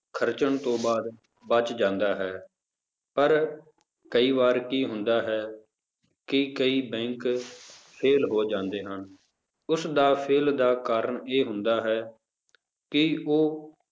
ਖ਼ਰਚਣ ਤੋਂ ਬਾਅਦ ਬਚ ਜਾਂਦਾ ਹੈ, ਪਰ ਕਈ ਵਾਰ ਕੀ ਹੁੰਦਾ ਹੈ ਕਿ ਕਈ bank fail ਹੋ ਜਾਂਦੇ ਹਨ, ਉਸਦਾ fail ਦਾ ਕਾਰਨ ਇਹ ਹੁੰਦਾ ਹੈ ਕਿ ਉਹ